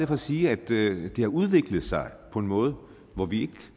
for at sige at det har udviklet sig på en måde hvor vi ikke